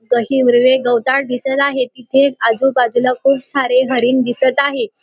गवताळ दिसत आहे तिथे आजूबाजूला खूप सारे हरीण दिसत आहे.